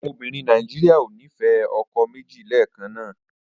Àwọn obìnrin Nàíjíríà ò ní fẹ́ ọkọ méjì lẹ́ẹ̀kan náà.